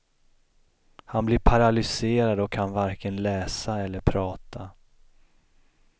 Han blir paralyserad och kan varken läsa eller prata.